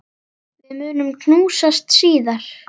Við munum knúsast síðar.